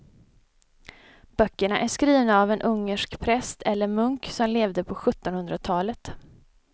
Böckerna är skrivna av en ungersk präst eller munk som levde på sjuttonhundratalet.